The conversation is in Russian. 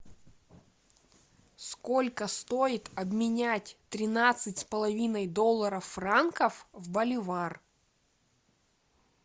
сколько стоит обменять тринадцать с половиной долларов франков в боливар